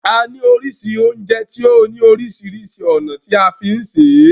A ní oríṣiríṣi oúnjẹ tí ó ní oríṣiríṣi ònà tí a ní fí sè é.